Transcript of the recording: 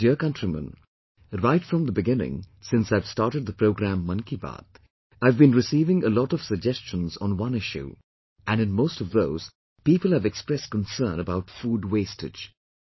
My dear Countrymen, right from the beginning since I have started the programme 'Mann Ki Baat', I have been receiving a lot of suggestions on one issue, and in most of those, people have expressed concern about food wastage